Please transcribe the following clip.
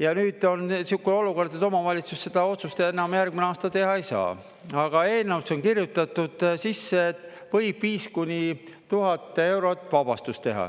ja nüüd on selline olukord, et omavalitsus seda otsust enam järgmisel aastal teha ei saa, aga eelnõusse on kirjutatud sisse, et võib 5–1000 eurot vabastust teha.